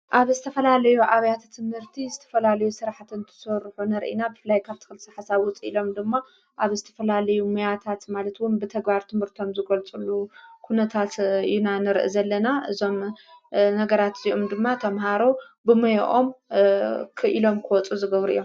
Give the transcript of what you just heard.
ኣብ እዝተፈላለዩ ኣብያተ ትምህርቲ ዝተፈላልዩ ሥራሕትን ትተወርሑ ነርኢና ብፍላይ ካፍቲ ክልሲ ሓሳውፅ ኢሎም ድማ ኣብ ዝተፈላልዩ ምያታት ማለትውን ብተጓር ትምህርቶም ዝጐልጽሉ ዂነታት ዩናንር ዘለና እዞም ነገራት እዚኡም ድማ ቶምሃሮ ብመይኦም ክኢሎም ክወፁ ዝገብር እዮም።